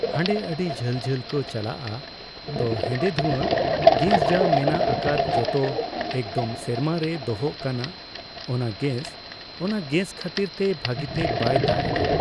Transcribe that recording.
ᱦᱟᱸᱰᱮ ᱟᱹᱰᱤ ᱡᱷᱟᱹᱞᱼᱡᱷᱟᱹᱞ ᱠᱚ ᱪᱟᱞᱟᱜᱼᱟ ᱛᱚ ᱦᱮᱸᱫᱮ ᱫᱷᱩᱣᱟᱹ, ᱜᱮᱥ ᱡᱟ ᱢᱮᱱᱟᱜ ᱟᱠᱟᱫ ᱡᱚᱛᱚ ᱮᱠᱫᱚᱢ ᱥᱮᱨᱢᱟ ᱨᱮ ᱫᱚᱦᱚᱜ ᱠᱟᱱᱟ, ᱚᱱᱟ ᱜᱮᱥ᱾ ᱚᱱᱟ ᱜᱮᱥ ᱠᱷᱟᱹᱛᱤᱨ ᱛᱮ ᱵᱷᱟᱹᱜᱤᱛᱮ ᱵᱟᱭ ᱫᱟᱜ ᱮᱫᱟ᱾